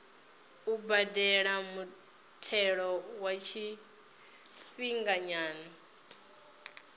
u badela muthelo wa tshifhinganyana